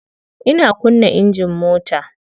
Ina kunna engine mota.